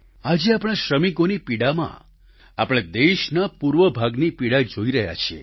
આજે આપણા શ્રમિકોની પીડામાં આપણે દેશના પૂર્વ ભાગની પીડા જોઈ રહ્યા છીએ